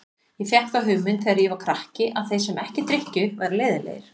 Ég fékk þá hugmynd þegar ég var krakki að þeir sem ekki drykkju væru leiðinlegir.